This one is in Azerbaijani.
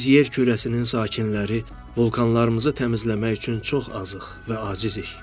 Biz yer kürəsinin sakinləri vulkanlarımızı təmizləmək üçün çox azıq və acizik.